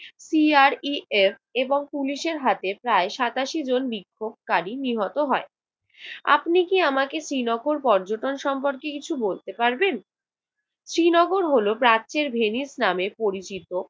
PREF এবং পুলিশের হাতে প্রায় সাতাশি জন বিক্ষোভকারী নিহত হয়। আপনি কি আমাকে শ্রীনগর পর্যটন সম্পর্কে কিছু বলতে পারবেন? শ্রীনগর হল প্রাচ্যের ভেনিস নামে পরিচিত।